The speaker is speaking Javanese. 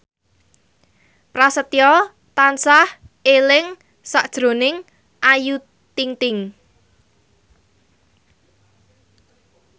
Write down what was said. Prasetyo tansah eling sakjroning Ayu Ting ting